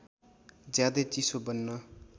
ज्यादै चिसो बन्न